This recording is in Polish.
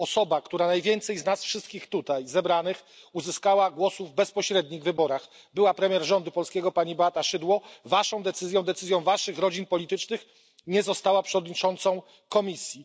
Osoba, która najwięcej z nas wszystkich tutaj zebranych uzyskała głosów w bezpośrednich wyborach, była premier rządu polskiego pani Beata Szydło Waszą decyzją, decyzją Waszych rodzin politycznych nie została przewodniczącą komisji.